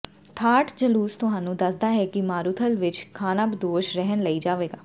ਠਾਠ ਜਲੂਸ ਤੁਹਾਨੂੰ ਦੱਸਦਾ ਹੈ ਮਾਰੂਥਲ ਵਿੱਚ ਖਾਨਾਬਦੋਸ਼ ਰਹਿਣ ਲਈ ਜਾਵੇਗਾ